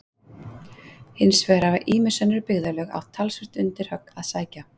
hins vegar hafa ýmis önnur byggðarlög átt talsvert undir högg að sækja